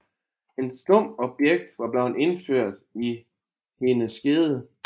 Et stumpt objekt var blevet indført i hendes skede